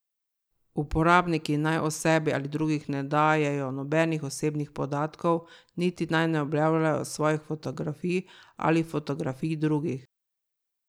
Uporabniki naj o sebi ali drugih ne dajejo nobenih osebnih podatkov niti naj ne objavljajo svojih fotografij ali fotografij drugih.